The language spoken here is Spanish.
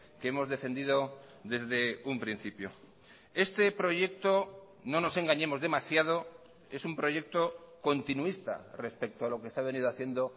que hemos defendido desde un principio este proyecto no nos engañemos demasiado es un proyecto continuista respecto a lo que se ha venido haciendo